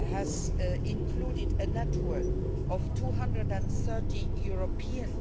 has included a network of 230 European